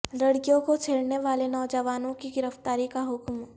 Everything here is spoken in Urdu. لڑکیوں کو چھیڑنے والے نوجوانوں کی گرفتاری کا حکم